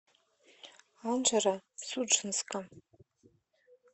анжеро судженска